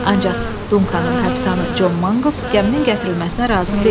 Ancaq Dunkanın kapitanı Con Manqls gəminin gətirilməsinə razı deyildi.